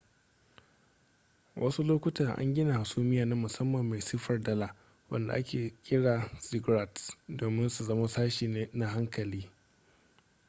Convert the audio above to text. wasu lokuta an gina hasumiya na musamman mai siffar dala wanda ake kira ziggurats domin su zama sashi na haikali